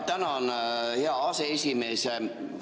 Tänan, hea aseesimees!